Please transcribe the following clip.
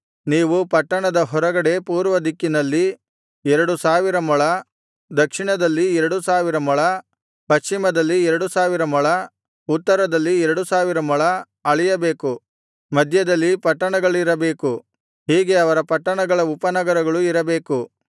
ನೀವು ಪಟ್ಟಣದ ಹೊರಗಡೆ ಪೂರ್ವ ದಿಕ್ಕಿನಲ್ಲಿ ಎರಡು ಸಾವಿರ ಮೊಳ ದಕ್ಷಿಣದಲ್ಲಿ ಎರಡು ಸಾವಿರ ಮೊಳ ಪಶ್ಚಿಮದಲ್ಲಿ ಎರಡು ಸಾವಿರ ಮೊಳ ಉತ್ತರದಲ್ಲಿ ಎರಡು ಸಾವಿರ ಮೊಳ ಅಳೆಯಬೇಕು ಮಧ್ಯದಲ್ಲಿ ಪಟ್ಟಣಗಳಿರಬೇಕು ಹೀಗೆ ಅವರ ಪಟ್ಟಣಗಳ ಉಪನಗರಗಳು ಇರಬೇಕು